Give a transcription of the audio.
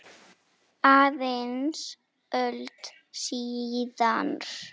Aðeins öld síðar.